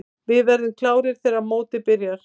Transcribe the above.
Við verðum klárir þegar mótið byrjar.